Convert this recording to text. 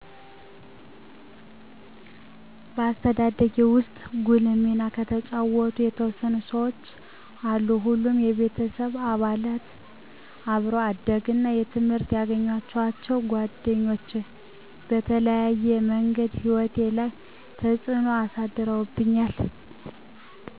በአስተዳደጌ ውስጥ ጉልህ ሚና የተጫወቱ የተወሰኑ ሰዎች አሉ ሁሉም የቤተሰብ አባላት፣ አብሮ አደግ እና በትምህረት የገኘዋቸዉ ጓደኞች በተለያየ ምንገድ ህይወቴ ላይ ተጽዕኖ አሳድረዉብኛል።